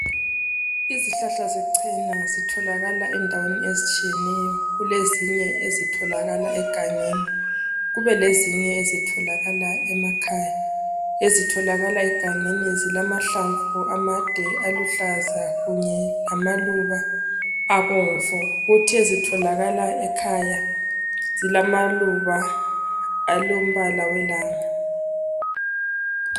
izihlahla zechena zitholakala ndaweni ezitshiyeneyo kulezinye ezitholakala egangeni kube lezinye ezitholakala emakhaya ezitholakala egangeni zilahlamvu amade aluhlaza kunye lamaluba abomvu kuthi ezitolakala ekhaya zilamaluba alombala welanga